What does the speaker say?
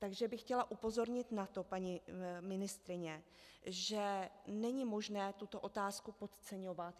Takže bych chtěla upozornit na to, paní ministryně, že není možné tuto otázku podceňovat.